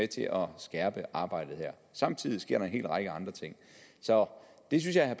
til at skærpe arbejdet her samtidig sker der en hel række andre ting så det synes jeg at